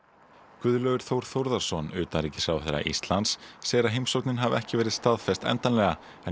Guðlaugur Þór Þórðarson utanríkisráðherra Íslands segir að heimsóknin hafi ekki verið staðfest endanlega en